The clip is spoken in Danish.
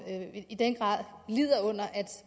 i den grad lider under at